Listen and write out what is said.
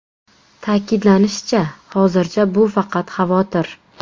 Ta’kidlanishicha, hozircha bu faqat xavotir.